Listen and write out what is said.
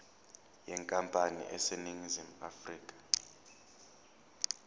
yenkampani eseningizimu afrika